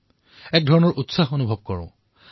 ব্যক্তিবিশেষে সেই আবেগ অনুভৱ কৰিব পাৰে